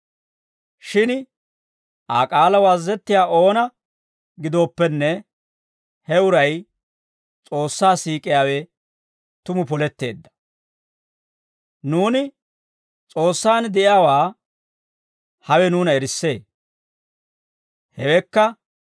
Shin Aa k'aalaw azazettiyaa oona gidooppenne, he uray S'oossaa siik'iyaawe tumu poletteedda. Nuuni S'oossaan de'iyaawaa hawe nuuna erissee. Hewekka,